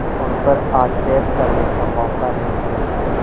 उन पर आक्षेप करने का मौका मिल गया